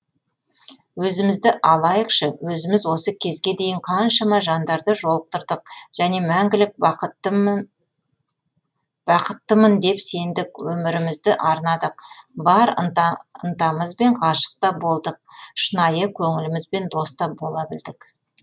өзімізді алайықшы өзіміз осы кезге дейін қаншама жандарды жолықтырдық және мәңгілік бақтыттымын деп сендік өмірімізді арнадық бар ынтамызбен ғашықта болдық шынайы көңілімізбен доста бола білдік